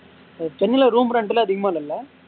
சென்னைல room rent ல அதிகமா இல்லைல